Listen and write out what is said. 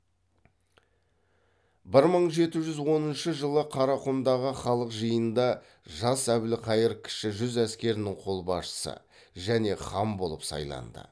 бір мың жеті жүз оныншы жылы қарақұмдағы халық жиынында жас әбілқайыр кіші жүз әскерінің қолбасшысы және хан болып сайланды